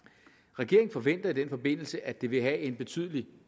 regeringen forventer i den forbindelse at det vil have en betydelig